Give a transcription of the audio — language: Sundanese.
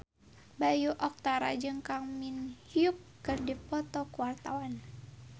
Bayu Octara jeung Kang Min Hyuk keur dipoto ku wartawan